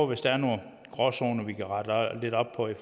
hvis der er nogle gråzoner vi kan rette lidt op på i